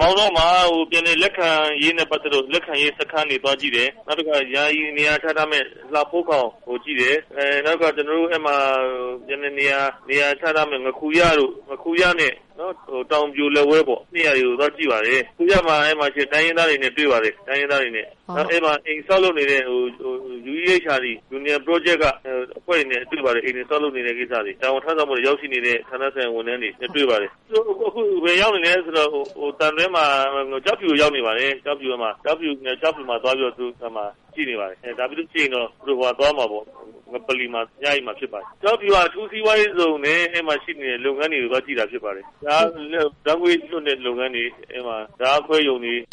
မောင်တောမှာ ပြန်လည်လက်ခံရေးနဲ့ ပတ်သက်ပြီး လက်ခံရေးစခန်းတွေကို သွားကြည့်တယ်။ နောက်တခါ ယာယီ နေရာချထားမယ့် လှဖိုးခေါင်ကိုကြည့်တယ်နောက်တခါ ပြန်လည်နေရချထားမယ့် ငါးခူရတို့ တောင်ပြိုလက်ဝဲတို့ အဲဒါတွေကို သွားကြည့်တယ်။ အဲဒီမှာရှိတဲ့ တိုင်းရင်းသားတွေနဲ့ တွေ့တယ်။ အဲဒီမှာ အိမ်ဆောက်လုပ်နေတဲ့ UEHRD လူငယ် project ကအဖွဲ့တွေနဲ့လည်းတွေ့ပါတယ်။ အိမ်ဆောက်လုပ်နေတဲ့ကိစ္စတွေ တာဝန်ထမ်းဆောင်ဖို့ ရောက်ရှိနေတဲ့ ဌာနဆိုင်ရာ ဝန်ထမ်းတွေနဲ့ တွေ့ပါတယ်။ အခုဘယ်ကိုရောက်နေလဲ ဆိုတော့ ကျောက်ဖြူကို ရောက်နေပါတယ်။ ကျောက်ဖြူကိုသွားပြီးတော့ ကြည့်နေပါတယ်။ ဒါပြီးရင်တော့ သူတို့ဟိုဘက်ကိုသွားမှာပေါ့ ငပလီမှာ တညအိပ်မယ်။ ကျောက်ဖြူက အထူးစီးပွားရေးဇုံနဲ့ အဲဒီမှာရှိနေတဲ့ လုပ်ငန်းတွေကို သွားကြည့်တာဖြစ်ပါတယ်။ ဓါတ်ငွေ့လွှတ်တဲ့လုပ်ငန်းတွေ ၊ ဓါတ်အားခွဲရုံတွေ။"